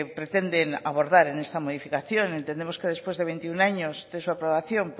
pretenden abordar en esta modificación entendemos que después de veintiuno años de su aprobación